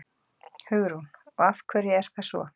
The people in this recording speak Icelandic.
Hugrún: Og af hverju er það svo?